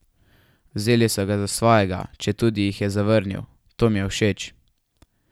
Vzeli so ga za svojega, četudi jih je zavrnil: 'To mi je všeč.